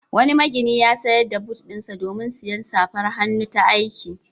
Wani magini ya sayar da but ɗinsa domin sayen safar hannu ta aiki.